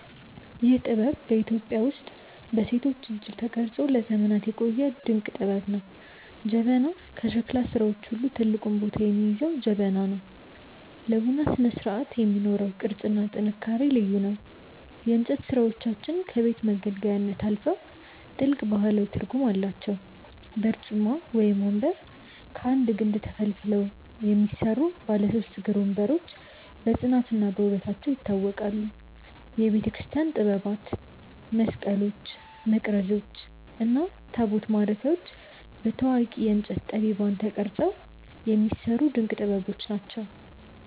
ይህ ጥበብ በኢትዮጵያ ውስጥ በሴቶች እጅ ተቀርጾ ለዘመናት የቆየ ድንቅ ጥበብ ነው። ጀበና፦ ከሸክላ ሥራዎች ሁሉ ትልቁን ቦታ የሚይዘው ጀበና ነው። ለቡና ስነስርዓት የሚኖረው ቅርጽና ጥንካሬ ልዩ ነው። የእንጨት ሥራዎቻችን ከቤት መገልገያነት አልፈው ጥልቅ ባህላዊ ትርጉም አላቸው። በርጩማ (ወንበር)፦ ከአንድ ግንድ ተፈልፍለው የሚሰሩ ባለ ሦስት እግር ወንበሮች በጽናትና በውበታቸው ይታወቃሉ። የቤተክርስቲያን ጥበባት፦ መስቀሎች፣ መቅረዞች እና ታቦት ማረፊያዎች በታዋቂ የእንጨት ጠቢባን ተቀርጸው የሚሰሩ ድንቅ ጥበቦች ናቸው።